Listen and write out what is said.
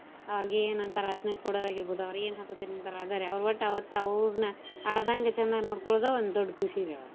ಅವ್ರ್ಗ ಏನ್ ಅಂತಾರ ಅದ್ನ ಕೊಡೋದ್ ಆಗೀರ್ಬೋದು ಅವ್ರ ಏನ್ ಹಾಕೋತೀನ್ ಅಂತಾರ್ ಅದ ರಿ ವಟ್ಟ ಅವತ್ತ ಅವ್ರ್ನ ಅಳ್ದಂಗ ಚಂದಗ ನೋಡ್ಕೋಳೊದ ಒಂದ್ ದೊಡ್ಡ ಖುಷಿ ರಿ.